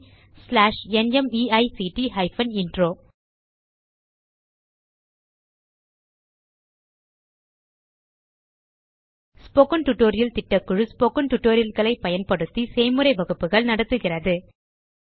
spoken tutorial திட்டக்குழு spoken tutorial களை பயன்படுத்தி செய்முறை வகுப்புகள் நடத்துகிறது